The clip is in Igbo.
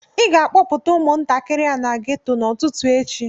ị ga-akpọpụta umuntakịrị a na geto a n'ụtụtụ echi